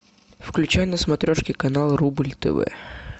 включай на смотрешке канал рубль тв